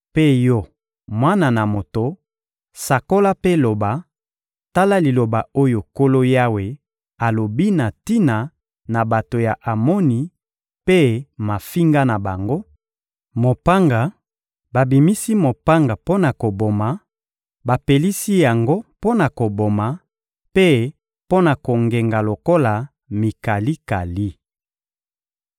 Mpe yo, mwana na moto, sakola mpe loba: ‹Tala liloba oyo Nkolo Yawe alobi na tina na bato ya Amoni mpe mafinga na bango: Mopanga, babimisi mopanga mpo na koboma, bapelisi yango mpo na koboma mpe mpo na kongenga lokola mikalikali!